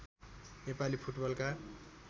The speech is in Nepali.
नेपाली फुटबलका